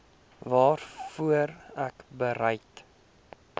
waarvoor ek bereid